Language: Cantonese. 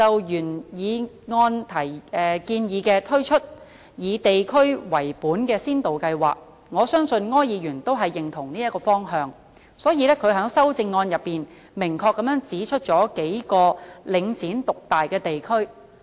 原議案建議推出以地區為本的先導計劃，我相信柯議員都認同這個方向，所以他在修正案中明確指出了數個領展獨大的地區。